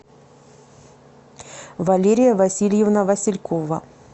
валерия васильевна василькова